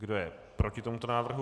Kdo je proti tomuto návrhu?